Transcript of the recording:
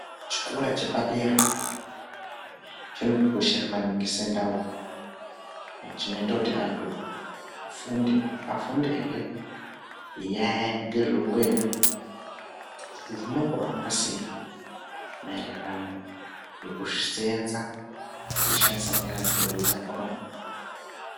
Chikora chepadera chinotikoshera maningi sendau. Chinoita kuti antu afunde, afundehe ngenyaya, ngezveupenyu kuti zvinombohamba sei maererano nekuseenza teishandisa nyara dzedu dzakhona.